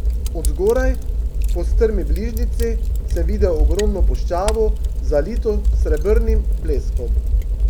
Od zgoraj, po strmi bližnjici, sem videl ogromno puščavo, zalito s srebrnim bleskom.